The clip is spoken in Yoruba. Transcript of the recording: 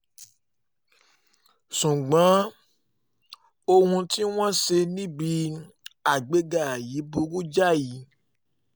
ṣùgbọ́n ohun tí wọ́n ṣe níbi àgbéga yìí burú jáì